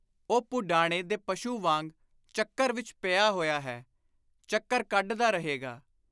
ਉਹ ਪਡਾਣੇ ਦੇ ਪਸ਼ੁ ਵਾਂਗ ਚੱਕਰ ਵਿਚ ਪਿਆ ਹੋਇਆ ਹੈ; ਚੱਕਰ ਕੱਢਦਾ ਰਹੇਗਾ।